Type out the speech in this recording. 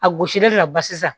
A gosilen don ba sisan